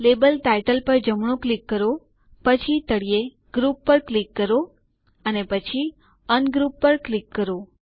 label title પર જમણું click કરો પછી તળિયે ગ્રુપ પર ક્લિક કરો અને પછી અનગ્રુપ પર ક્લિક કરો